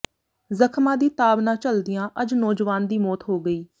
ਜ਼ਖਮਾਂ ਦੀ ਤਾਬ ਨਾ ਝੱਲਦਿਆਂ ਅੱਜ ਨੌਜਵਾਨ ਦੀ ਮੌਤ ਹੋ ਗਈ